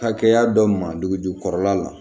Hakɛya dɔ ma dugujukɔrɔla la